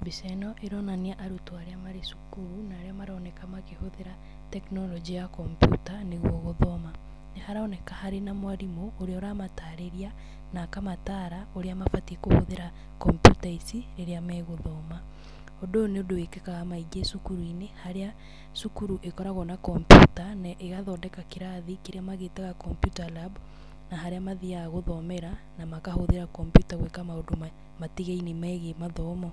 Mbica ĩno, ĩronania arutwo arĩa marĩ cukuru, na arĩa maroneka makĩhũthĩra tekinoronjĩ ya kompiuta, nĩguo gũthoma. Nĩ haroneka harĩ na mwarimũ, ũrĩa ũramatarĩria, na akamataara, ũrĩa mabati kũhũthĩra kompiuta ici, rĩrĩa megũthoma. Ũndũ ũyũ nĩ ũndũ wĩkĩkaga maingĩ cukuru-inĩ, harĩa cukuru ĩkoragwo na kompiuta, na ĩgathondeka kĩrathi kĩrĩa magĩtaga computer lab ,na harĩa mathiaga gũthomera, na makahũthĩra kompiuta gwĩka maũndũ matigaine megiĩ mathomo.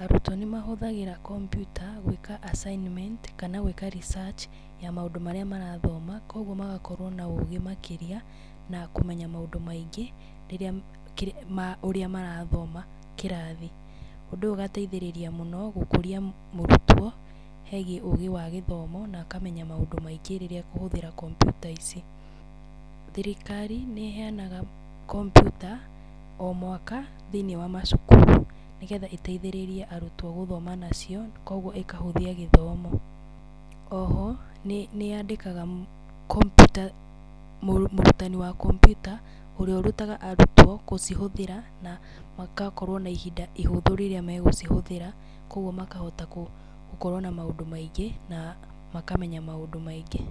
Arutwo nĩ mahũthagĩra kompiuta gwĩka assignment, kana gwĩka research, ya maũndũ marĩa marathoma. Koguo magakorwo na ũgĩ makĩria, na kũmenya maũndũ maingĩ, rĩrĩa ma ũrĩa marathoma kĩrathi. Ũndũ ũyũ ũgateithĩrĩria mũno, gũkũria mũrutwo hegiĩ ũgĩ wa gĩthomo, na akamenya maũndũ maingĩ rĩrĩa ekũhũthĩra kompiuta ici. Thirikari, nĩ ĩheanaga kompiuta, o mwaka, thĩiniĩ wa macukuru. Nĩgetha ĩteithĩrĩrie arutwo gũthoma nacio, koguo ĩkahũthia gĩthomo. O ho, nĩ nĩ yandĩkaga kompiuta, mũrutani wa kompiuta, ũrĩa ũrutaga arutwo gũcihũthĩra, na makakorwo na ihinda ihũthũ rĩrĩa megũcihũthĩra. Koguo makahota gũkorwo na maũndũ maingĩ, na makamenya maũndũ maingĩ.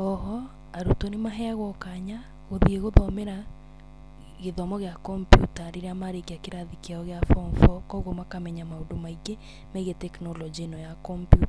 O ho, arutwo nĩ maheagwo kanya, gũthiĩ gũthomera gĩthomo gĩa kompiuta rĩrĩa marĩkia kĩrathi kĩao gĩa form four. Koguo makamenya maũndũ maingĩ megiĩ tekinoronjĩ ĩno ya kompiuta.